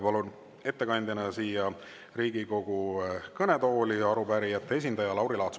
Palun ettekandeks siia Riigikogu kõnetooli arupärijate esindaja Lauri Laatsi.